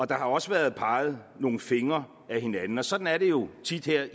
der har også været peget nogle fingre ad hinanden og sådan er det jo tit her